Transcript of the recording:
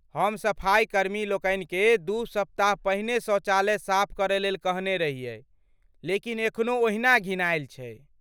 हम सफाइकर्मी लोकनि केँ दू सप्ताह पहिने शौचालय साफ करय लेल कहने रहियै, लेकिन एखनो ओहिना घिनाएल छै।